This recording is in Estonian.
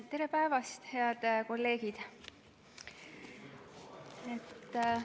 Tere päevast, head kolleegid!